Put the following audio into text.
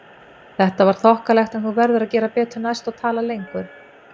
Þetta var þokkalegt en þú verður að gera betur næst og tala lengur